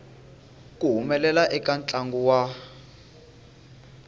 ku humelela eka ntlangu wa